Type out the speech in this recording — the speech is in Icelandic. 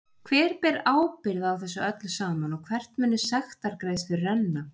Hver ber ábyrgð á þessu öllu saman og hvert munu sektargreiðslur renna?